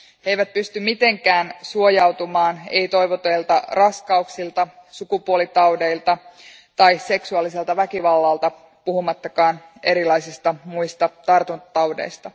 He eivät pysty mitenkään suojautumaan ei toivotuilta raskauksilta, sukupuolitaudeilta tai seksuaaliselta väkivallalta, puhumattakaan erilaisista muista tartuntataudeista.